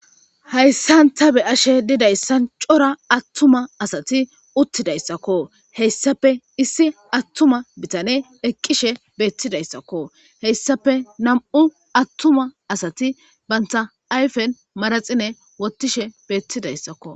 hayssan ta beyashe didayssan cora attuma asati uttidayssakko. hessape issi attuma bitane eqqishe beettidayssakko.heyssape nam"u attuma asati banta ayfen maraxine wottishe beettidayssakko.